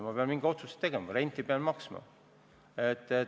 Ma pean mingi otsuse tegema, renti pean maksma.